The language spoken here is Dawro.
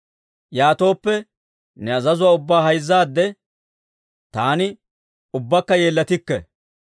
Yaatooppe, ne azazuwaa ubbaa hayzzaadde, taani ubbakka yeellatikke.